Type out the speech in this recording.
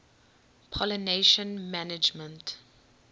pollination management